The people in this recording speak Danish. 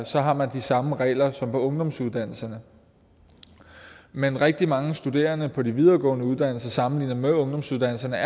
så har man de samme regler som på ungdomsuddannelserne men rigtig mange studerende på de videregående uddannelser er sammenlignet med ungdomsuddannelserne